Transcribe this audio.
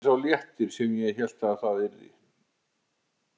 Þetta varð ekki sá léttir sem ég hélt það yrði.